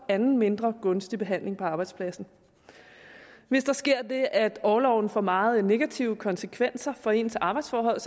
anden mindre gunstig behandling på arbejdspladsen hvis der sker det at orloven får meget negative konsekvenser for ens arbejdsforhold